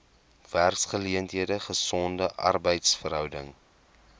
werksgeleenthede gesonde arbeidsverhoudinge